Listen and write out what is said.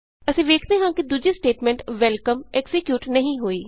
ਅਸੀਂ ਵੇਖਦੇ ਹਾਂ ਕਿ ਦੂਜੀ ਸਟੇਟਮੈਂਟ ਵੈਲਕਮ ਐਕਜ਼ੀਕਿਯੂਟ ਨਹੀਂ ਹੋਈ